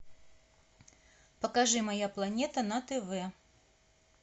покажи моя планета на тв